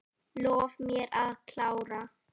Lof mér að klára.